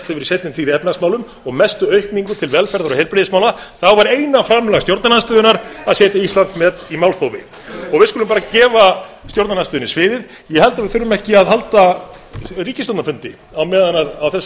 í seinni tíð í efnahagsmálum og mestu aukningu til velferðar og heilbrigðismála var eina framlag stjórnarandstöðunnar að setja íslandsmet í málþófi við skulum bara gefa stjórnarandstöðunni sviðið ég held að við þurfum ekki að halda ríkisstjórnarfundi á meðan á þessu